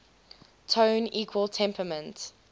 tone equal temperament